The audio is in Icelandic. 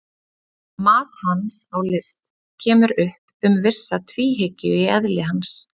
Mat hans á list kemur upp um vissa tvíhyggju í eðli hans.